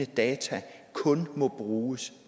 data kun må bruges